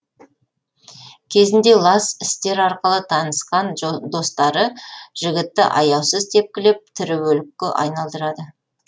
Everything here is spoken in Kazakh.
кезінде лас істер арқылы танысқан достары жігітті аяусыз тепкілеп тірі өлікке айналдырады